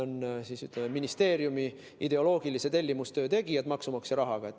Need on ministeeriumi ideoloogilise tellimustöö tegijad maksumaksja rahaga.